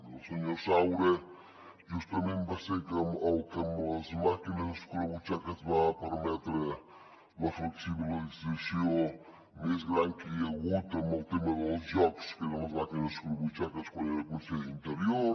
el senyor saura justament va ser el que amb les màquines escurabutxaques va permetre la flexibilització més gran que hi ha hagut en el tema dels jocs que eren les màquines escurabutxaques quan era conseller d’interior